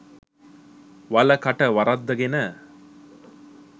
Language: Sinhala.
වල කට වරද්දගෙන